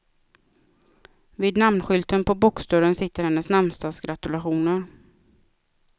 Vid namnskylten på boxdörren sitter hennes namnsdagsgratulationer.